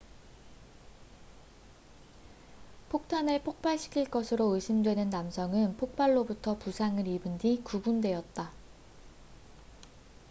폭탄을 폭발시킨 것으로 의심받는 남성은 폭발로부터 부상을 입은 뒤 구금되었다